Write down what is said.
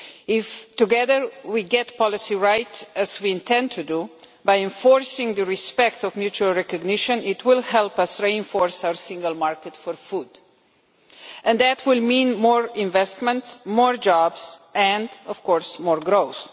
If together we get the policy right, as we intend to do, by enforcing the respect of mutual recognition, it will help us reinforce our single market for food and that will mean more investment, more jobs and of course more growth.